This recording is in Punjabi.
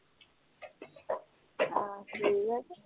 ਆਹ ਠੀਕ ਆ ਫੇਰ